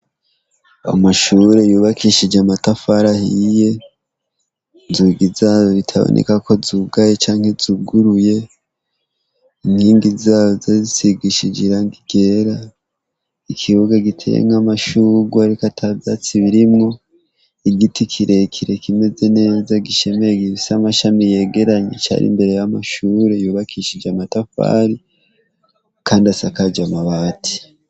Amashure yubakishijwe amatafari ahiye inzugi zayo zitaboneka ko zuguruye inkigi zazo zisigishije irangi ryera ikibuga giteyemwo amashurwe atavyatsi birimwo igiti kirekire kimeze neza gishemeye gifise amashami yegeranye imbere yamashure yubakishije amatafari kandi sakajijwe amabati